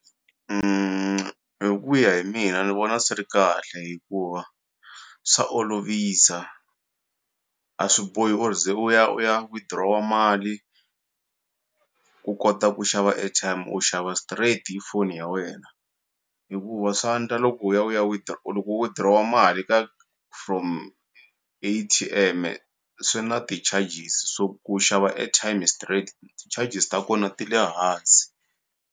hi ku ya hi mina ni vona swi ri kahle hikuva swa olovisa a swi bohi u ze u ya u ya withdraw-a mali ku kota ku xava airtime u xava straight hi foni ya wena hikuva swa ndla loko u ya u ya loko u withdraw mali ka from A_T_M-e swi na ti-charges so ku xava airtime straight ti-charges ta kona ti le hansi.